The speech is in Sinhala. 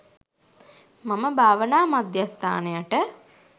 මම භාවනා මධ්‍යස්ථානයට